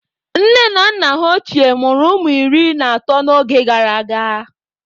Nne na nna ha ochie mụrụ ụmụ iri na atọ n'oge gara aga.